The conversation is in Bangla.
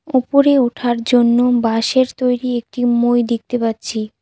উপরে ওঠার জন্য বাঁশের তৈরি একটি মই দেখতে পাচ্ছি।